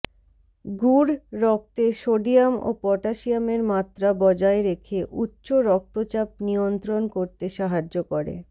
গুড় রক্তে সোডিয়াম ও পটাশিয়ামের মাত্রা বজায় রেখে উচ্চ রক্তচাপ নিয়ন্ত্রণ করতে সাহায্য করে